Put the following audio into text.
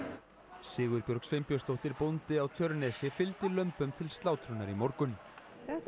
Sigurbjörg Sveinbjörnsdóttir bóndi á Tjörnesi fylgdi lömbum til slátrunar í morgun þetta